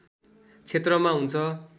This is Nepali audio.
क्षेत्रमा हुन्छ